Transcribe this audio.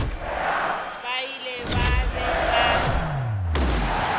ba ile ba be ba